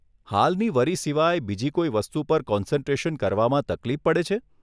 હાલની વરી સિવાય બીજી કોઈ વસ્તુ પર કોન્સન્ટ્રેશન કરવામાં તકલીફ પડે છે?